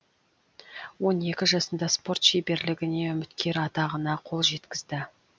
он екі жасында спорт шеберлігіне үміткер атағына қол жеткізді